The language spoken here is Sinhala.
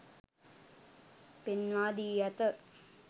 පෙන්වා දී ඇත.